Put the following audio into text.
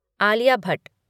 Alia Bhatt